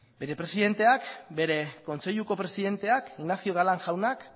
bere presidenteak bere kontseiluko presidenteak ignacio galán jaunak